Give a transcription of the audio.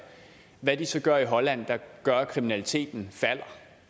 hvad de så gør i holland der gør at kriminaliteten falder